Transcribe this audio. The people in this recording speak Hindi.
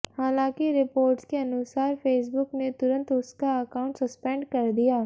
हालांकि रिपोर्ट्स के अनुसार फेसबुक ने तुंरत उसका अकाउंट सस्पेंड कर दिया